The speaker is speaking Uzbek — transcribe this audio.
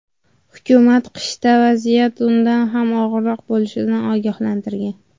Hukumat qishda vaziyat undan ham og‘irroq bo‘lishidan ogohlantirgan.